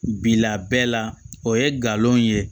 Bilabe la o ye nkalon ye